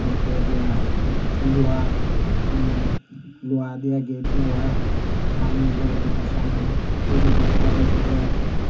তারপরে দিয়া লুহার উম লোহা দিয়ে গেট দেওয়া সামনে ঘরে ঢোকার সামনে টি_ভি ডিস লাগাইছে যে।